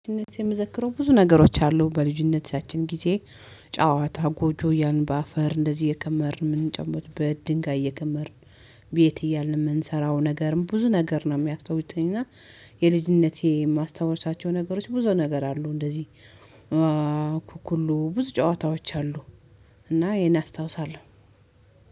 ልጅነቴ የምዘክረው ብዙ ነገሮች አሉ በልጅነታችን ጊዜ ጨዋታ ጎጆ ያልን በአፈር እንደዚህ የከመርን የምንጨምርበት በድንጋይ የከመርን። ቤት እያልን የምንሰራው ነገርም ብዙ ነገር ነው የሚያስታውሰኝ እና የልጅነቴ የማስታውሳቸው ነገሮች ብዙ ነገር አሉ። እንደዚህ አኩኩሉ ብዙ ጨዋታዎች አሉ። እና ይሄን አስታውሳለሁ።